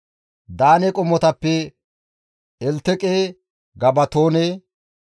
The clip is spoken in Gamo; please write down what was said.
Daane qommotappe Elteqe, Gabatoone,